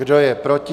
Kdo je proti?